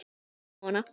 Ég reyni að róa hana.